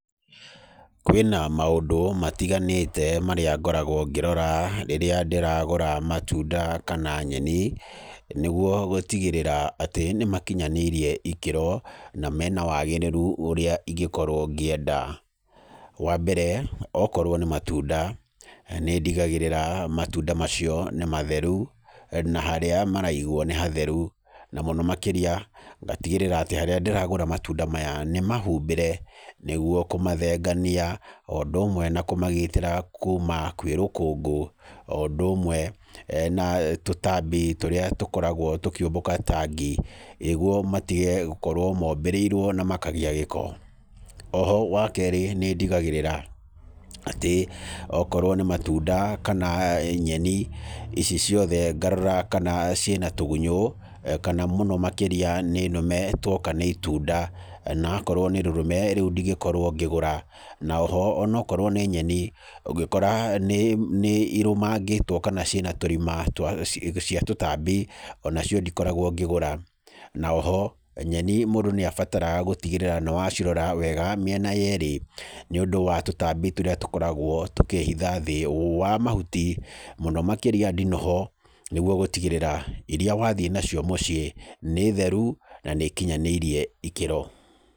Kwĩna na maũndũ matiganĩte marĩa ngoragwo ngĩrora rĩrĩa ndĩragũra matunda kana nyeni. Nĩguo gũtigĩrĩra atĩ nĩmakinyanĩirie ikĩro na mena wagĩrĩru ũrĩa ingĩkorwo ngĩenda. Wambere okorwo nĩ matunda nĩndigagĩrĩra atĩ matunda macio nĩ matheru na harĩa maraigwo nĩ hatheru, na mũno makĩria ngatigĩrĩra harĩa ndĩragũra matunda maya nĩmahumbĩre nĩguo kũmathengania, o ũndũ ũmwe na kũmagitĩra kumana kwĩ rũkũngũ o ũndũ ũmwe kuma gwĩ tũtambi tũrĩa tũkoragwo tũkĩũmbũka ta ngi, nĩguo matige gũkorwo mombĩrĩirwo na makagĩa gĩko. Oho wakerĩ nĩ ndigagĩrĩra atĩ okorwo nĩ matunda kana nyeni ici ciothe ngarora kana ciĩna tũgunyũ, na mũno makĩria kana nĩ nũme tuoka nĩ itunda na akorwo nĩirũme rĩu ndingĩkorwo ngĩgũra. Oho onakorwo nĩ nyeni ũngĩkora nĩirũmangĩtwo kana ciĩna tũrima twa tũtambi nacio ndikoragwo ngĩgura. Na oho nyeni mũndũ nĩabataraga gũcirora wega mĩena yerĩ nĩũndũ wa tũtambi tũrĩa tũkoragwo tũkĩhitha thĩ wa mahuti mũno makĩria ndinoho nĩguo gũtigĩrĩra iria wathiĩ nacio mũciĩ nĩ theru na nĩikinyanĩirie ikĩro.